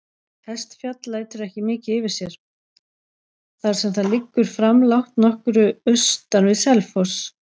Hestfjall lætur ekki mikið yfir sér, þar sem það liggur framlágt nokkru austan við Selfoss.